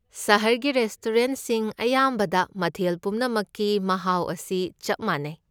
ꯁꯍꯔꯒꯤ ꯔꯦꯁꯇꯣꯔꯦꯟꯠꯁꯤꯡ ꯑꯌꯥꯝꯕꯗ, ꯃꯊꯦꯜ ꯄꯨꯝꯅꯃꯛꯀꯤ ꯃꯍꯥꯎ ꯑꯁꯤ ꯆꯞ ꯃꯥꯟꯅꯩ꯫